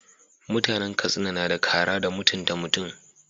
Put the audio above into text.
Mutanan katsina nada kara da mutunta mutun